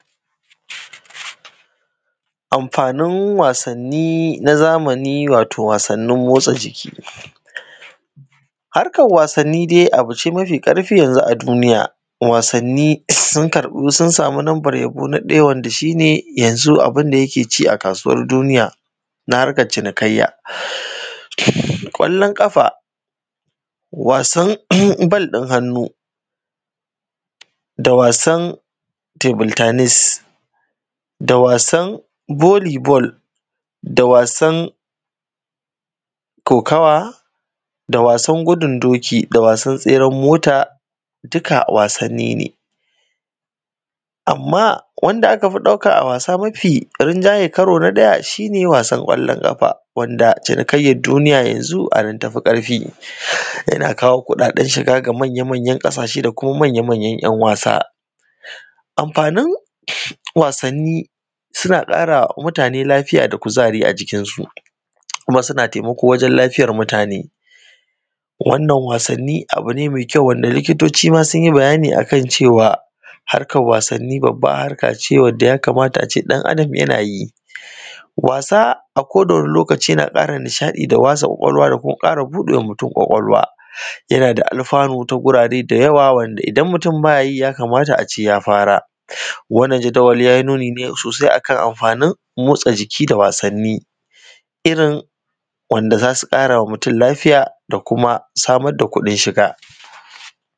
Amfanin wasanni na zamani wato wasanni motsa jiki harkar wasanni dai abu ce dai mafi ƙarfi yanzu a duniya wasanni sun karɓi sun samu lambar yabo na ɗaya wanda shi ne yanzu abunda yake ci a kasuwar duniya na harkar cinikayya, ƙwallon ƙafa wasan ball ɗin hannu da wasan table tennis da wasan volley ball da wasan kokawa da wasan gudun doki da wasan tseren mota dukka wasanni ne amma wanda aka fi ɗauka a wasa mafi rinjayi karo na ɗaya shi ne wasan ƙwallon ƙafa wanda cinikayyar duniya yanzu anan tafi ƙarfi, yana kawo kuɗaɗen shiga ga manya-manyan ƙasashe da kuma manya-manyan ‘yan wasa amfanin wasanni suna ƙarawa mutane lafiya da kuzari a jikin su kuma suna taimako wajen lafiyar mutane, wannan wasanni abu ne mai kyau wanda likitoci ma sun yi bayani akan shi akan cewa harkar wasanni babbar harkace wanda ya kamata ace ɗan adam yana yi wasa a koda wani lokaci yana ƙara nishaɗi da wasa ƙwaƙwalwa da kuma ƙara buɗewa mutum ƙwaƙwalwa yana da alfanu ta gurare da yawa wanda idan mutum baya yi ya kamata ace ya fara wannan jadawali yayi nuni sosai akan amfanin motsa jiki da wasanni irin wanda zasu ƙarawa mutum lafiya da kuma samar da kuɗin shiga